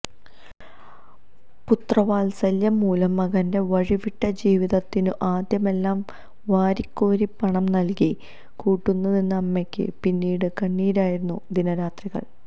പുത്രവാത്സല്യം മൂലം മകന്റെ വഴിവിട്ട ജീവിതത്തിനു ആദ്യമെല്ലാം വാരിക്കോരി പണം നൽകി കൂട്ടുനിന്ന അമ്മയ്ക്ക് പിന്നീട് കണ്ണീരായിരുന്നു ദിനരാത്രങ്ങൾ